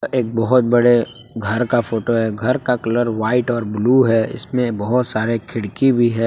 एक बहुत बड़े घर का फोटो है घर का कलर व्हाइट और ब्लू है इसमें बहुत सारे खिड़की भी है।